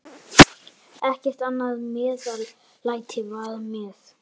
Ekkert annað meðlæti var með.